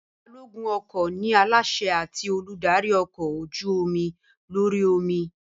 Balógun ọkọ̀ ni aláṣẹ àti olùdarí ọkọ̀ ojú-omi lórí omi